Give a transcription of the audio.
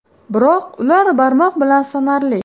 Biroq ular barmoq bilan sanarli.